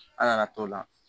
Ala y'a t'o la